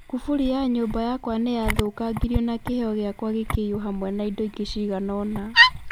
Kuburi ya nyũmba yakwa nĩ ya thũkangirio na kĩheo gĩakwa gĩkĩiywo hamwe na indo ingĩ cigana ũna.